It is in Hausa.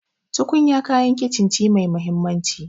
Tukunya kayan kicin ce mai mahimmanci.